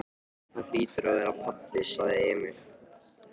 Það hlýtur að vera pabbi, sagði Emil.